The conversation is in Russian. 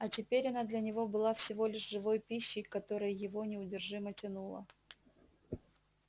а теперь она для него была всего лишь живой пищей к которой его неудержимо тянуло